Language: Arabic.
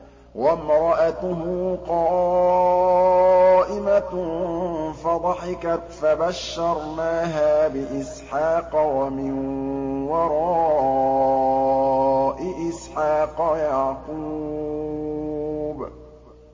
وَامْرَأَتُهُ قَائِمَةٌ فَضَحِكَتْ فَبَشَّرْنَاهَا بِإِسْحَاقَ وَمِن وَرَاءِ إِسْحَاقَ يَعْقُوبَ